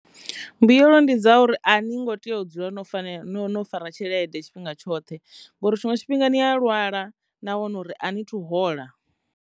Mbuyelo ndi dza uri a ni ngo tea u dzula no fanela no no fara tshelede tshifhinga tshoṱhe ngori tshiṅwe tshifhinga ni a lwala na wana uri a ni thu hola.